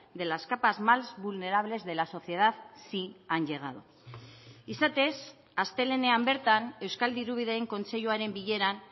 de las capas más vulnerables de la sociedad sí han llegado izatez astelehenean bertan euskal dirubideen kontseiluaren bileran